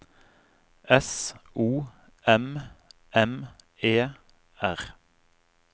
S O M M E R